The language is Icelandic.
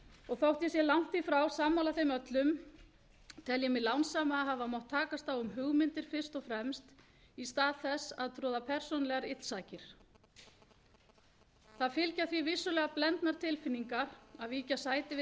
og þó ég sé langt í frá sammála þeim öllum tel ég mig lánsama að hafa mátt takast á við hugmyndir fyrst og fremst í stað þess að troða persónulegar illsakir það fylgja því vissulega blendnar tilfinningar að víkja sæti við þær